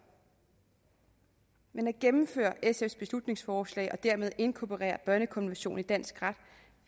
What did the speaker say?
men at gennemføre sfs beslutningsforslag og dermed inkorporere børnekonventionen i dansk ret